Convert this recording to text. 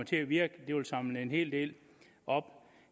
til at virke og samle en hel del op